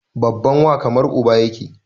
Babban wa kamar uba yake